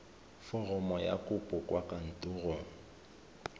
foromo ya kopo kwa kantorong